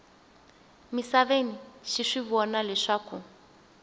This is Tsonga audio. misaveni xi swi vona leswaku